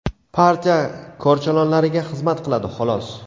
partiya korchalonlariga xizmat qiladi, xolos!.